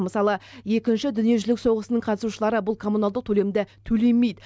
мысалы екінші дүниежүзілік соғысының қатысушылары бұл коммуналдық төлемді төлемейді